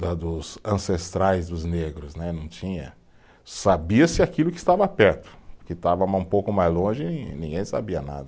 da dos ancestrais dos negros né, não tinha, sabia-se aquilo que estava perto, que estava mais um pouco mais longe, ninguém sabia nada.